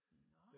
Nå